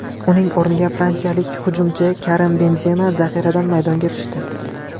Uning o‘rniga fransiyalik hujumchi Karim Benzema zaxiradan maydonga tushdi.